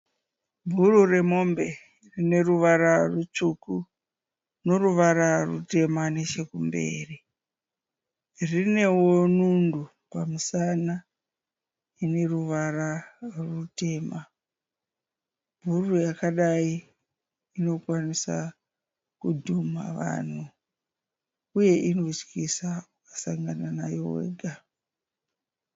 Bhuru remombe rine ruvara rutsvuku noruvara rutemba mberi. Rinewo nundu pamusana ine ruvara rutema. Bhuru rakadai rinokwanisa kudhuma vanhu uye inotyisa ukasangana nayo wega.